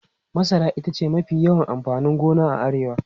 Masara ita ce mafi yawan amfanin gona a Arewa.